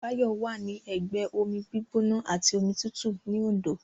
Báyọ̀ wà ní ẹgbẹ́ omi gbígbóná àti omi tútù ní Òndó